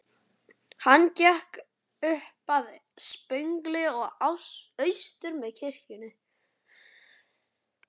Hann gekk upp að stöpli og austur með kirkjunni.